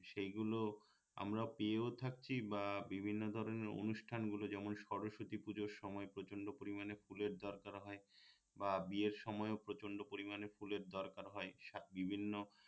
সেগুলো আমরা পেয়েও থাকছি বা বিভিন্ন ধরনের অনুষ্ঠান গুলো যেমন সরস্বতী পুঁজোর সময় প্রচণ্ড পরিমান ফুলের দরকার হয় বা বিয়ের সময়ও প্রচণ্ড পরিমাণে ফুলের দরকার হয় বিভিন্ন